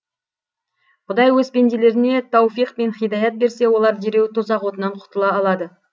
құдай өз пенделеріне тауфиқ пен һидаят берсе олар дереу тозақ отынан құтыла алады